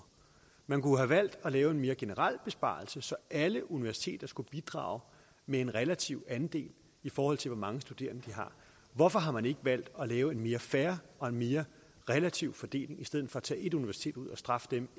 man kunne have valgt at lave en mere generel besparelse så alle universiteter skulle bidrage med en relativ andel i forhold til hvor mange studerende de har hvorfor har man ikke valgt at lave en mere fair og mere relativ fordeling i stedet for at tage ét universitet ud og straffe dem